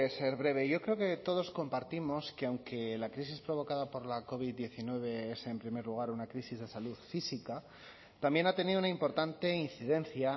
ser breve yo creo que todos compartimos que aunque la crisis provocada por la covid diecinueve es en primer lugar una crisis de salud física también ha tenido una importante incidencia